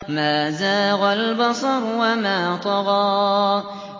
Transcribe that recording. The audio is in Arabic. مَا زَاغَ الْبَصَرُ وَمَا طَغَىٰ